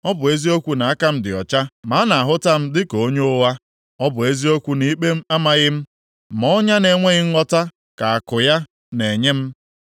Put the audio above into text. Ọ bụ eziokwu na aka m dị ọcha ma a na-ahụta m dịka onye ụgha; ọ bụ eziokwu na ikpe amaghị m ma ọnya na-enweghị ngwọta ka àkụ ya na-enye m.’